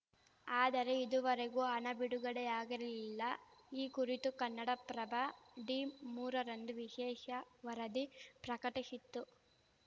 ಆದರೆ ಇದುವರೆಗೂ ಹಣ ಬಿಡುಗಡೆಯಾಗಿರಲಿಲ್ಲ ಈ ಕುರಿತು ಕನ್ನಡಪ್ರಭ ಡಿಮೂರರಂದು ವಿಶೇಷ ವರದಿ ಪ್ರಕಟಿಶಿತ್ತು